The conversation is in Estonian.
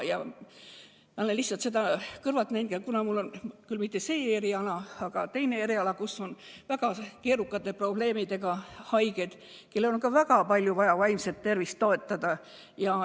Mul on küll teine eriala, aga ma olen kõrvalt näinud, et psühhiaatritel on väga keerukate probleemidega haigeid, kelle vaimset tervist on väga palju vaja toetada.